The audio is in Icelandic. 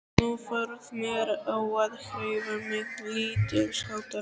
Nú varð mér á að hreyfa mig lítilsháttar.